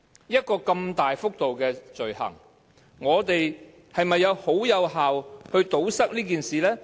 一項如此大幅度的罪行，我們是否有效地堵塞這種事情？